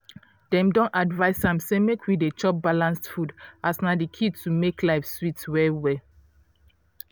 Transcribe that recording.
dem don advice am say make we dey chop balanced food as na di key to make life sweet well well.